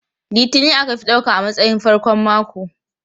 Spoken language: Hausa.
Litini aka fi ɗauka a matsayin farkon mako.